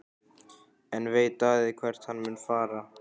En veit Daði hvert hann mun fara?